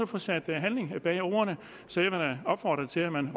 få sat handling bag ordene så jeg vil opfordre til at man